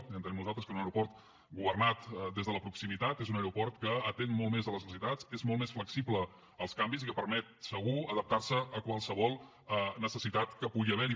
ho entenem nosaltres que un aeroport governat des de la proximitat és un aeroport que atén molt més les necessitats és molt més flexible als canvis i que permet segur adaptar se a qualsevol necessitat que pugui haver hi